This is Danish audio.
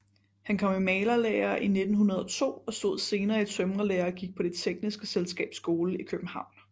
Han kom i malerlære 1902 og stod senere i tømrerlære og gik på Det tekniske Selskabs Skole i København